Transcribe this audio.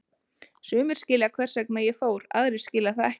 Sumir skilja hvers vegna ég fór, aðrir skilja það ekki.